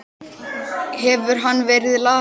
Hefur hann verið lasinn?